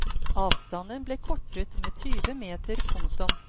Avstanden ble kortet med tyve meter. punktum